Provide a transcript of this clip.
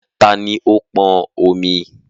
Tani ó pọn omi?